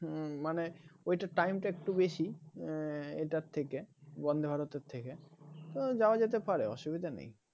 হম মানে ওইটা টাইমটা একটু বেশি এটার থেকে Vande, Bharat এর থেকে তো যাওয়া যেতে পারে অসুবিধা নেই